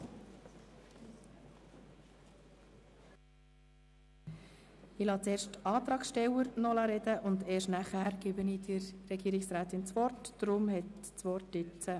Ich lasse zuerst die Antragsteller sprechen, und die Regierungsrätin hat erst danach das Wort.